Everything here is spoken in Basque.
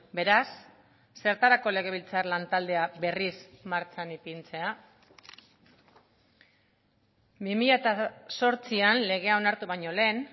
beraz zertarako legebiltzar lan taldea berriz martxan ipintzea bi mila zortzian legea onartu baino lehen